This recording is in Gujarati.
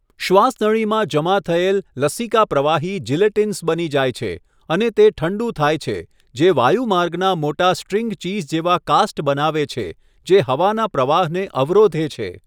શ્વાસનળીમાં જમા થયેલ લસિકા પ્રવાહી જિલેટીનસ બની જાય છે અને તે ઠંડુ થાય છે, જે વાયુમાર્ગના મોટા સ્ટ્રિંગ ચીઝ જેવા કાસ્ટ બનાવે છે, જે હવાના પ્રવાહને અવરોધે છે.